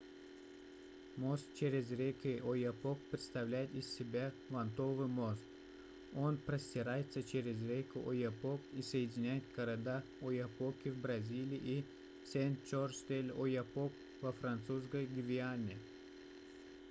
мост через реку ояпок представляет из себя вантовый мост он простирается через реку ояпок и соединяет города ояпоки в бразилии и сен-жорж-де-л'ояпок во французской гвиане